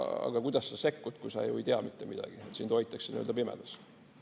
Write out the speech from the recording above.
Aga kuidas sa sekkud, kui sa ju ei tea mitte midagi, sind hoitakse nii-öelda pimedas.